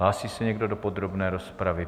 Hlásí se někdo do podrobné rozpravy?